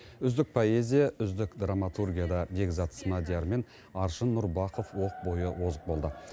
үздік поэзия үздік драматургияда бекзат смадияр мен аршын нұрбақов оқ бойы озық болды